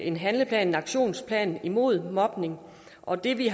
en handlingsplan en aktionsplan imod mobning og det vi